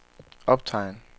optegn